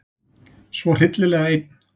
Svo hryllilega einn.